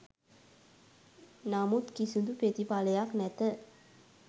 නමුත් කිසිදු ප්‍රතිඵලයක් නැත.